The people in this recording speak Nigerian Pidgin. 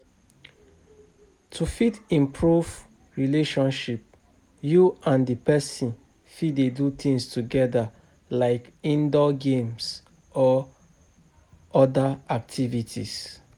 To fit improve relationship you and di person fit dey do things together like indoor games or oda activities